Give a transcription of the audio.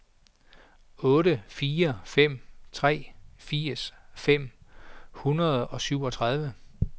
otte fire fem tre firs fem hundrede og syvogtredive